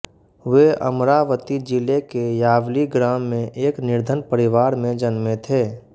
वे अमरावती जिले के यावली ग्राम में एक निर्धन परिवार में जन्मे थे